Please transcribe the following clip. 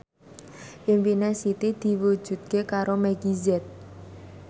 impine Siti diwujudke karo Meggie Z